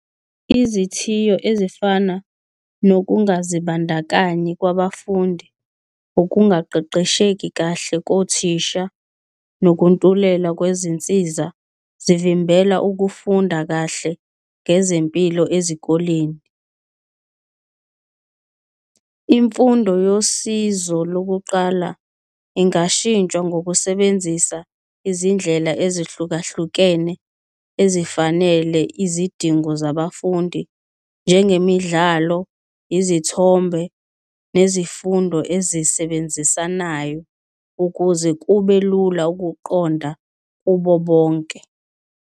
Izithiyo ezifana nokungazibandakanyi kwabafundi, ukungaqeqesheki kahle kothisha nokuntuleka kwezinsiza, zivimbela ukufunda kahle ngezempilo ezikoleni. Imfundo yosizo lokuqala ingashintsha ngokusebenzisa izindlela ezihlukahlukene ezifanele izidingo zabafundi njengemidlalo, izithombe nezifundo ezisebenzisanayo ukuze kube lula ukuqonda kubo bonke.